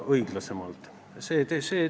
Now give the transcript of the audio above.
Ma teen kõik endast sõltuva selle teostumiseks.